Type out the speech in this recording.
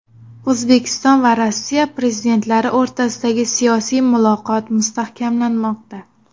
O‘zbekiston va Rossiya prezidentlari o‘rtasidagi siyosiy muloqot mustahkamlanmoqda.